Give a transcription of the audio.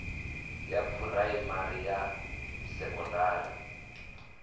ya phuraimari na ya sekondari